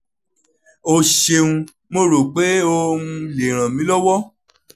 o seun mo ro pe o [um[ le ranmilowo